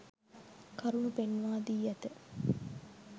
කරුණු පෙන්වා දී ඇත.